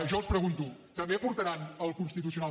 jo els pregunto també portaran al constitucional